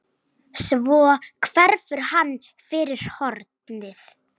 Svo hverfur hann fyrir hornið.